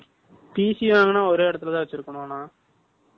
வாங்குனா, ஒரே இடத்துலதான் வச்சிருக்கணும்ண்ணா